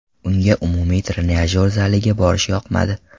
Unga umumiy trenajyor zaliga borish yoqmadi.